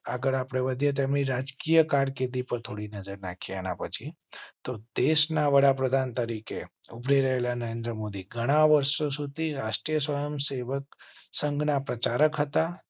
આગળ વધે તેમની રાજકીય કારકિર્દી પર થોડી નજર નાખીએ એના પછી. તો દેશ ના વડાપ્રધાન તરીકે ઉભરી રહેલા નરેન્દ્ર મોદી ઘણા વર્ષો સુધી રાષ્ ટ્રીય સ્ વયં સેવક સંઘના પ્રચારક હતા.